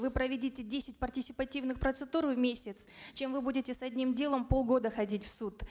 вы проведите десять партисипативных процедур в месяц чем вы будете с одним делом полгода ходить в суд